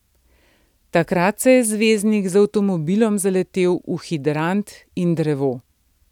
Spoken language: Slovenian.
Takrat se je zvezdnik z avtomobilom zaletel v hidrant in drevo.